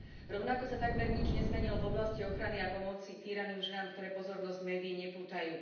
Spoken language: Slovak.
Rovnako sa takmer nič nezmenilo v oblasti ochrany a pomoci týraným ženám, ktoré pozornosť médií nepútajú.